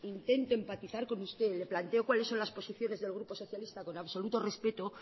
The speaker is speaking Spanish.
intento empatizar con usted le planteo cuáles son las posiciones del grupo socialista con absoluto respeto